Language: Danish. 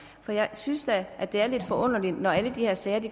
for jeg synes da det er lidt forunderligt når alle de her sager